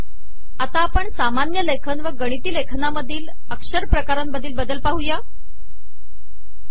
आता सामानय लेखन व गिणती लेखनामधील अकरपकारामधील बदल आपण पाह ु